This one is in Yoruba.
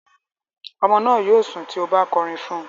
Ọmọ náà yóò sùn tí o bá kọrin fún un.